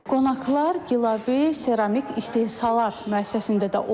Qonaqlar Qilabı Keramik istehsalat müəssisəsində də oldular.